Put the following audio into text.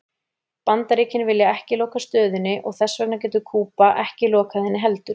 Bandaríkin vilja ekki loka stöðinni og þess vegna getur Kúba ekki lokað henni heldur.